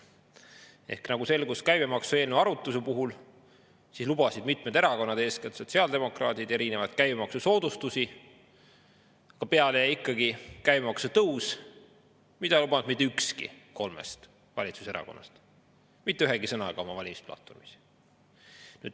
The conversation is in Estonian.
Käibemaksu eelnõu arutluse selgus, et mitmed erakonnad, eeskätt sotsiaaldemokraadid, lubasid erinevaid käibemaksusoodustusi, aga peale jäi ikkagi käibemaksu tõus, mida ükski kolmest valitsuserakonnast oma valimisplatvormis mitte ühegi sõnaga ei lubanud.